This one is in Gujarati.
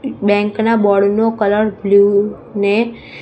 બેન્કના ના બોર્ડ નો કલર બ્લુ ને--